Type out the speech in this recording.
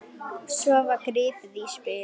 Svo var gripið í spil.